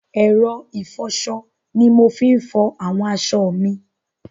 ẹ̀rọ ìfọṣọ ni mo fi ń fọ àwọn aṣọ mi.